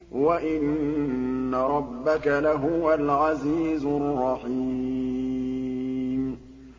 وَإِنَّ رَبَّكَ لَهُوَ الْعَزِيزُ الرَّحِيمُ